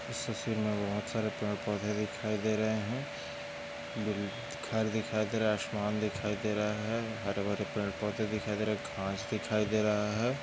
इस तस्वीर मे बहुत सारे पेड़ पौंधे दिखाई दे रहे है घर दिखाई दे रहा है आसमान दिखाई दे रहा है हरे भरे पेड़ पौंधे दिखाई दे रहे है घास दिखाई दे रहा है।